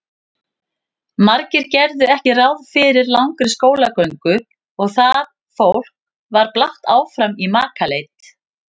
Margir gerðu ekki ráð fyrir langri skólagöngu og það fólk var blátt áfram í makaleit.